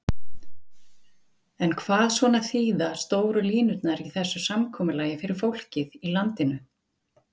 Heimir: En hvað svona þýða stóru línurnar í þessu samkomulagi fyrir fólkið í landinu?